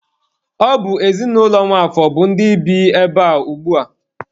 Ọ bụ ezinụlọ Nwafor bụ ndị bi ebea ugbua.